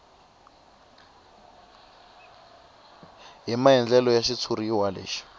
hi maandlalelo ya xitshuriwa lexi